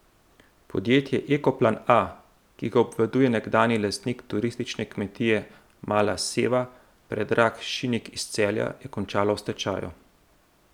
Podjetje Ekoplan A, ki ga obvladuje nekdanji lastnik turistične kmetije Mala Seva Predrag Šinik iz Celja, je končalo v stečaju.